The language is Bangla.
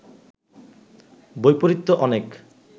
বৈপরীত্য অনেক